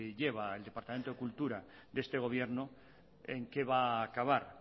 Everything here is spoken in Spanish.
lleva el departamento de cultura de este gobierno en qué va a acabar